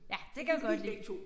Ja det kan jeg godt lide